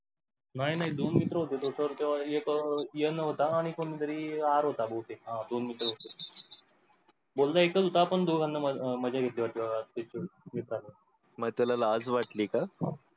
नाही, नाही दोन मित्र होते sir एक n होता आणि कोणी तरी R होता बहुतेक. हा दोन मित्र होते. बोला एकच होता पण दोघांनी मज्जा घेतली मग त्याला लाज वाटली का?